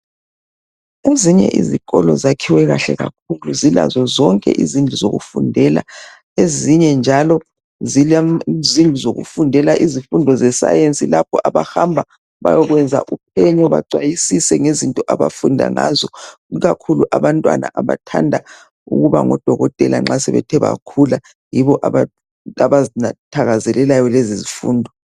Ezinye izikolo zakhiwe kahle kakhulu zilazo zonke izindlu zokufundela ezinye njalo zile zindlu zokufundela izifundo ze science lapho abahamba bayekwenza uphenyo bacwayisise ikakhulu abantwana abathanda ukuba ngodokotela nxa sebethe bakhula yibo abazithakazelelayo lezi zifundo.